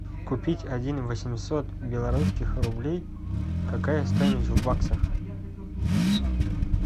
купить один восемьсот белорусских рублей какая стоимость в баксах